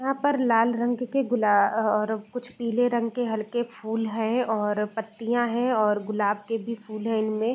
यहाँ पर लाल रंग के गुलाब और कुछ पीले रंग के हलके फूल हैं और पत्तियां हैं और गुलाब के भी फूल हैं इनमे |